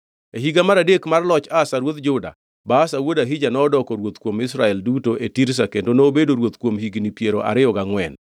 E higa mar adek mar loch Asa ruodh Juda, Baasha wuod Ahija nodoko ruoth kuom Israel duto e Tirza kendo nobedo ruoth kuom higni piero ariyo gangʼwen.